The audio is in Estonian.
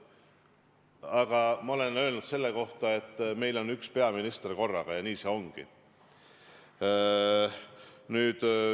Aga ma olen öelnud selle kohta, et meil on üks peaminister korraga, ja nii see ongi.